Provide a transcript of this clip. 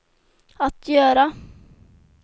att göra